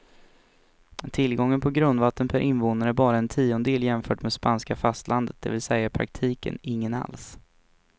Tillgången på grundvatten per invånare är bara en tiondel jämfört med spanska fastlandet, det vill säga i praktiken ingen alls.